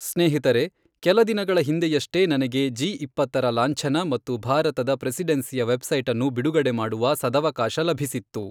ಸ್ನೇಹಿತರೇ, ಕೆಲ ದಿನಗಳ ಹಿಂದೆಯಷ್ಟೇ ನನಗೆ ಜಿ ಇಪ್ಪತ್ತರ ಲಾಂಛನ ಮತ್ತು ಭಾರತದ ಪ್ರೆಸಿಡೆನ್ಸಿಯ ವೆಬ್ಸೈಟ್ ಅನ್ನು ಬಿಡುಗಡೆ ಮಾಡುವ ಸದವಕಾಶ ಲಭಿಸಿತ್ತು.